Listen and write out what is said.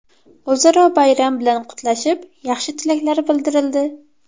O‘zaro bayram bilan qutlashib, yaxshi tilaklar bildirildi.